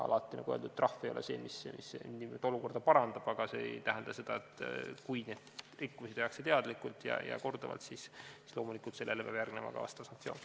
Nagu öeldud, alati ei ole trahv see, mis olukorda parandab, aga kui neid rikkumisi tehakse teadlikult ja korduvalt, siis peab sellele loomulikult järgnema ka vastav sanktsioon.